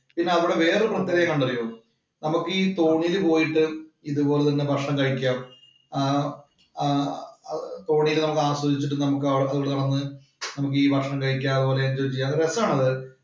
പിന്നെ അവിടെ വേറെ ഹോട്ടല്‍ ഒക്കെ ഉണ്ട്. അതറിയോ? നമുക്കീ തോണിയില് പോയിട്ട് ഇതുപോലെ തന്നെ ഭക്ഷണം കഴിക്കാം. ആഹ് ആഹ് തോണിയില് നമുക്ക് ആസ്വദിച്ചിട്ട് നമുക്ക് അവിടെ പോയി നടന്ന് നമുക്ക് ഈ ഭക്ഷണം കഴിക്കാം. അതുപോലെ എന്‍ജോയ് ചെയ്യാം